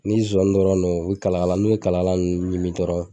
Ni zon dɔrɔn no o bi kalalka n'u ye kalakala nunnu ɲimi dɔrɔn